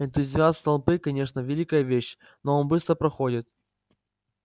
энтузиазм толпы конечно великая вещь но он быстро проходит